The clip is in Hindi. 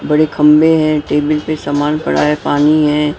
बड़े खंबे हैं टेबल पे सामान पड़ा है पानी है।